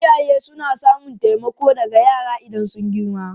Iyaye suna samun taimako daga yara idan sun girma.